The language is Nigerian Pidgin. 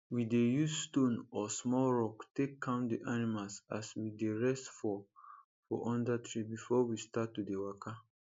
we dey use stone or small rock take count d animals as we dey rest for for under tree before we start to dey waka